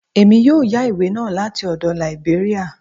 Èmi yóò yá ìwé náà láti ọdọ̀ Lìbéríà